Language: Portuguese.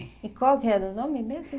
E qual que era o nome mesmo